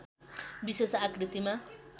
विशेष आकृतिमा